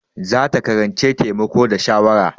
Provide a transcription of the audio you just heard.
Za ta karanci taimako da shawara.